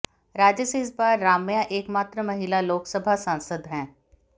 राज्य से इस बार राम्या एकमात्र महिला लोकसभा सांसद हैं